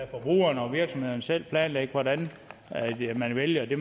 forbrugerne og virksomhederne selv planlægge hvordan man vælger det